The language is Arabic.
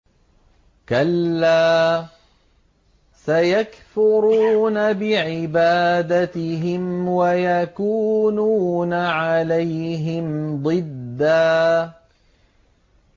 كَلَّا ۚ سَيَكْفُرُونَ بِعِبَادَتِهِمْ وَيَكُونُونَ عَلَيْهِمْ ضِدًّا